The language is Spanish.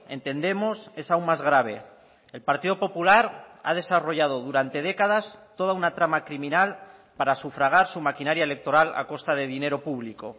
entendemos es aún más grave el partido popular ha desarrollado durante décadas toda una trama criminal para sufragar su maquinaria electoral a costa de dinero público